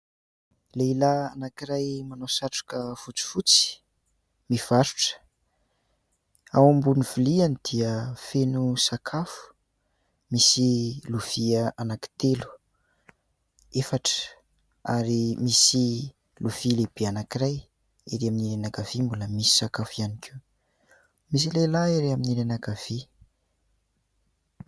Lehilahy anankiray manao satroka fotsifotsy mivarotra ao ambonin'ny viliany dia feno sakafo misy lovia anankitelo, efatra ary misy lovia lehibe anankiray eny amin'ny ilany ankavia mbola misy sakafo ihany koa. Misy lehilahy ery amin'ny ilany ankavia.